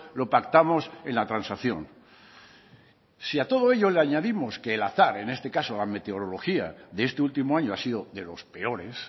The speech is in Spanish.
lo pactamos en la transacción si a todo ello le añadimos que el azar en este caso la meteorología de este último año ha sido de los peores